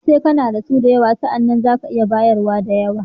Sai kana da su da yawa, sa'anan za ka iya bayar da yawa.